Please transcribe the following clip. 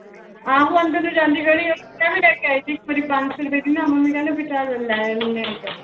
ਆਹੋ ਅੰਦਰ ਨੂੰ ਜਾਂਦੀ ਗਲੀ, ਮੈਂ ਵੀ ਲੈ ਕੇ ਆਈ ਸੀ ਇੱਕ ਵਾਰੀ ਪੰਜ ਸੌ ਰੁਪਏ ਦੀ ਨਾ ਮੰਮੀ ਕਹਿੰਦੇ ਵੀ ਚੱਲ ਲੈ